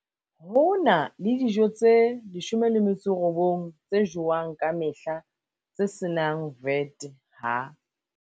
Ho na le dijo tse 19 tse jowang ka mehla tse se nang VAT ha